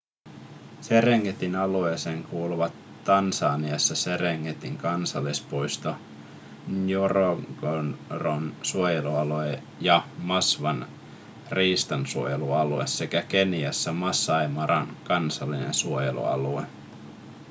serengetin alueeseen kuuluvat tansaniassa serengetin kansallispuisto ngorongoron suojelualue ja maswan riistansuojelualue sekä keniassa masai maran kansallinen suojelualue